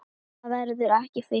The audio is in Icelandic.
Það verður ekki fyllt.